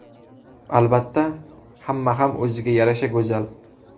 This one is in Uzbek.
Albatta, hamma ham o‘ziga yarasha go‘zal.